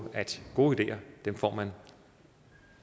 at gode ideer får man